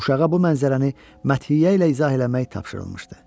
Uşağa bu mənzərəni məthiyyə ilə izah eləmək tapşırılmışdı.